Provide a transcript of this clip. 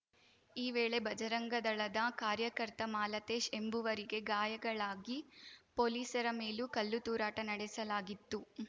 ಈ ವೇಳೆ ಬಜರಂಗದಳದ ಕಾರ್ಯಕರ್ತ ಮಾಲತೇಶ್‌ ಎಂಬುವರಿಗೆ ಗಾಯಗಳಾಗಿ ಪೊಲೀಸರ ಮೇಲೂ ಕಲ್ಲುತೂರಾಟ ನಡೆಸಲಾಗಿತ್ತು